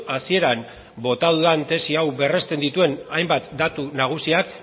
hasieran bota dudan tesi hau berresten dituen hainbat datu nagusiak